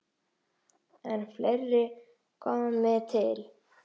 En fleira komi til.